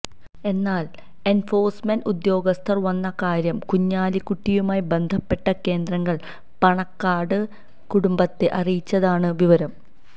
എന്നാല് എന്ഫോഴ്സ്മെന്റ് ഉദ്യോഗസ്ഥര് വന്ന കാര്യം കുഞ്ഞാലിക്കുട്ടിയുമായി ബന്ധപ്പെട്ട കേന്ദ്രങ്ങള് പാണക്കാട് കുടുംബത്തെ അറിയിച്ചതായാണ് വിവരം